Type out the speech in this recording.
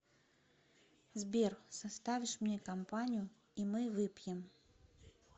сбер составишь мне компанию и мы выпьем